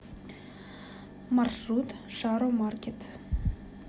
маршрут шаромаркет